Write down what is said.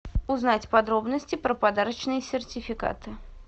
узнать подробности про подарочные сертификаты